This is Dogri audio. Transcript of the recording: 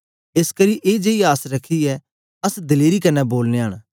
एसकरी ए जेई आस रखियै अस दलेरी कन्ने बोलनयां न